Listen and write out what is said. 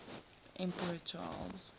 emperor charles